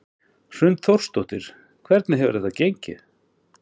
Hrund Þórsdóttir: Hvernig hefur þetta gengið?